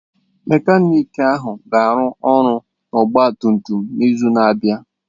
Mekaniki ahụ ga-arụ ọrụ n'ọgba tum tum n'izu na-abịa